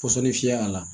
Pɔsɔni fiyɛ a la